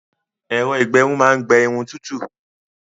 Ẹ̀rọ-ìgbẹrun máa ń gbé Irun tútù